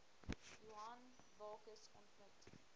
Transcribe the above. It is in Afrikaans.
johan bakkes ontmoet